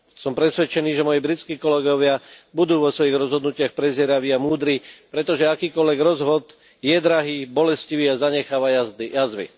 Som presvedčený, že moji britskí kolegovia budú vo svojich rozhodnutiach prezieraví a múdri, pretože akýkoľvek rozvod je drahý, bolestivý a zanecháva jazvy.